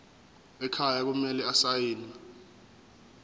ekhaya kumele asayiniwe